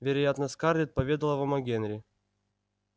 вероятно скарлетт поведала вам о генри